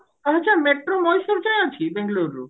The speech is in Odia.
ଆରେ ସେ metro ମୟୀଶୁର ଯାଏଁ ଅଛି ବେଙ୍ଗେଲୋର ରୁ